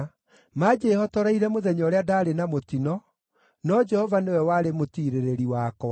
Maanjĩhotoreire mũthenya ũrĩa ndaarĩ na mũtino, no Jehova nĩwe warĩ mũtiirĩrĩri wakwa.